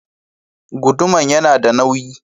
Guduman yana da nauyi.